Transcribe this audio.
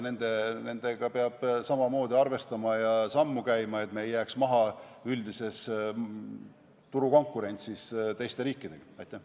Sellega peab samamoodi arvestama ja ühte sammu käima, et me ei jääks üldises turukonkurentsis teistest riikidest maha.